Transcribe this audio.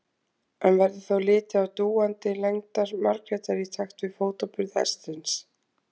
En verður þá litið á dúandi lendar Margrétar í takt við fótaburð hestsins.